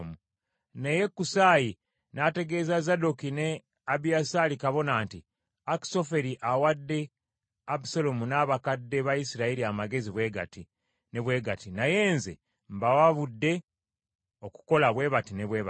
Naye Kusaayi n’ategeeza Zadooki ne Abiyasaali bakabona nti, “Akisoferi awadde Abusaalomu n’abakadde ba Isirayiri amagezi bwe gati ne bwe gati, naye nze mbawabudde okukola bwe bati ne bwe bati.